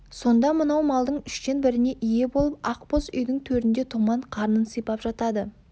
сонда мынау малдың үштен біріне ие болып ақ боз үйдің төрінде томан қарнын сипап жатады